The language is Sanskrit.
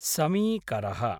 समीकरः